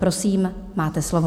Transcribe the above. Prosím, máte slovo.